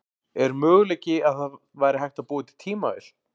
Er möguleiki að það væri hægt að búa til tímavél?